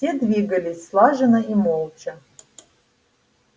все двигались слаженно и молча